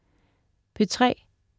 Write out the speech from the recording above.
P3: